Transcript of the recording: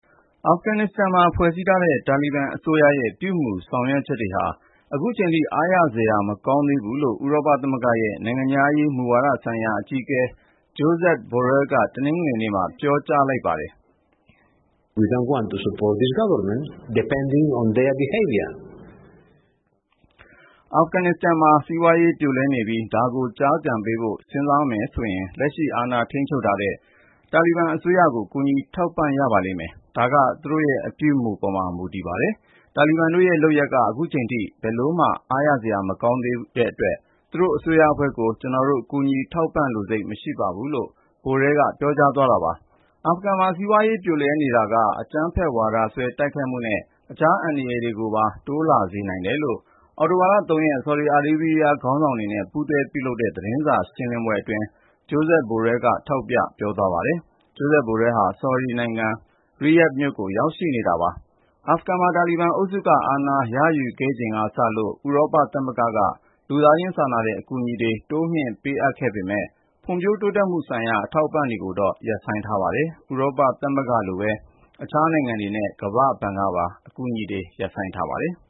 အာဖဂန်နစ္စတန်မှာ ဖွဲ့စည်းထားတဲ့ တာလီဘန်အစိုးရရဲ့ ပြုမူဆောင်ရွက်ချက်တွေဟာ အခုချိန်ထိ အားရစရာ မကောင်းသေးဘူးလို့ ဥရောပသမဂ္ဂရဲ့ နိုင်ငံခြားရေးမူဝါဒဆိုင်ရာ အကြီးအကဲ Josep Borrell က တနင်္ဂနွေနေ့မှာ ပြောကြားလိုက်ပါတယ်။ “အာဖဂန်နစ္စတန်မှာ စီးပွားရေးပြိုလဲနေပြီး ဒါကို ကျားကန်ပေးဖို့ စဉ်းစားမယ်ဆိုရင် လက်ရှိ အာဏာထိန်းချုပ်ထားတဲ့ တာလီဘန်အစိုးရကို ကူညီ ထောက်ပံ့ရပါလိမ့်မယ်။ ဒါက သူတို့ရဲ့ အပြုအမူပေါ်မှာ မူတည်ပါတယ်။ တာလီဘန်တို့ရဲ့လုပ်ရပ်က ခုချိန်ထိ ဘယ်လိုမှ အားရစရာ မကောင်းသေးတဲ့အတွက် သူတို့အစိုးရအဖွဲ့ကို ကျနော်တို့ ကူညီထောက်ပံ့လိုစိတ် မရှိပါဘူး။” လို့ Borrell က ပြောသွားတာပါ။ အာဖဂန်မှာ စီးပွားရေးပြိုလဲနေတာက အကြမ်းဖက်ဝါဒစွဲ တိုက်ခိုက်မှုနဲ့ အခြား အန္တရာယ်တွေကိုပါ တိုးလာစေနိုင်တယ်လို့ အောက်တိုဘာ ၃ ရက်နေ့ ဆော်ဒီအာရေးဗျ ခေါင်းဆောင်နဲ့ ပူးတွဲပြုလုပ်တဲ့ သတင်းစာရှင်းလင်းပွဲမှာ Josep Borrell က ထောက်ပြ ပြောသွားပါတယ်။ ဥရောပသမဂ္ဂရဲ့ ထိပ်တန်းသံတမန် Josep Borrell ဟာ ဆော်ဒီနိုင်ငံ Riyadh မြို့ကို ရောက်ရှိနေပြီး အာဖဂန်နဲ့ ယီမင်နိုင်ငံ အရေးကိစ္စတွေကို ဆွေးနွေးနေတာ ဖြစ်ပါတယ်။ အာဖဂန်မှာ တာလီဘန်အုပ်စုက အာဏာရယူခဲ့ချိန်ကစလို့ ဥရောပသမဂ္ဂက လူသားချင်းစာနာတဲ့ အကူအညီတွေ တိုးမြှင့်ပေးအပ်ခဲ့ပေမယ့် ဖွံ့ဖြိုးတိုးတက်ရေးဆိုင်ရာ အထောက်အပံ့တွေကိုတော့ ရပ်ဆိုင်းလိုက်ပါတယ်။ ဥရောပသမဂ္ဂလိုပဲ အခြားနိုင်ငံတွေနဲ့ ကမ္ဘာ့ဘဏ်ကပါ အကူအညီတွေ ရပ်ဆိုင်းထားပါတယ်။